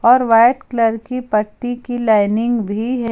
और white colour की पट्टी की लाइनिंग भी है।